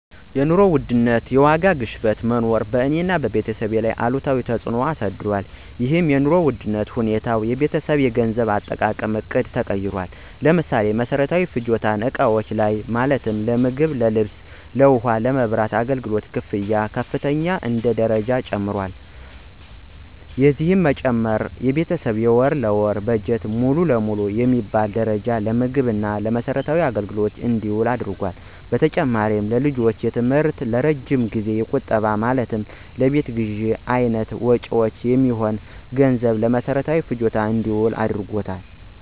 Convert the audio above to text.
የኑሮ ውድነት ወይም የዋጋ ግሽበት መኖር በእኔ እና በቤተሰቤ ላይ አሉታዊ ተፅዕኖ አሳድሯል። ይህም የኑሮ ውድነት ሁኔታ የቤተሰባችንን የገንዘብ አጠቃቀም ዕቅድ ቀይሮታል። ለምሳሌ፦ በመሰረታዊ ፍጆታ እቃዎች ላይ ማለትም ለምግብ፣ ለልብስ፣ ለውሃ እና የመብራት አገልግሎት ክፍያዎች በከፍተኛ ደረጃ ጨምረዋል። የዚህም መጨመር የቤተሰብ የወር ለወር በጀት ሙሉ ለሙሉ በሚባል ደረጃ ለምግብ እና ለመሰረታዊ አገልግሎቶች እንዲውል አድርጓታል። በተጨማሪም ለልጆች የትምህርት እና የረጅም ጊዜያዊ ቁጠባ ማለትም ለቤት ግዥ አይነት መጭወች የሚሆን ገንዘብም ለመሰረታዊ ፍጆታ እንዲውል አድርጎታል።